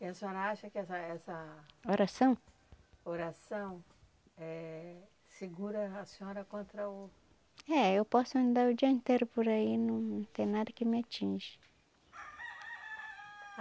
E a senhora acha que essa essa. Oração? Oração, eh... segura a senhora contra o... É, eu posso andar o dia inteiro por aí, não tem nada que me atinge.